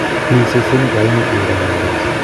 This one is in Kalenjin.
Mi sesenik aeng'u che urerendos